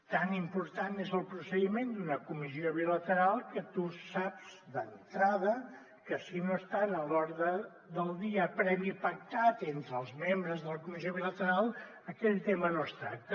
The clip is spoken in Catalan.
tan important és el procediment d’una comissió bilateral que tu saps d’entrada que si no està en l’ordre del dia previ pactat entre els membres de la comissió bilateral aquell tema no es tracta